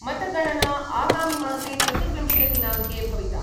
मतगणना आगामिमासे चतुर्विंशे दिनाङ्के भविता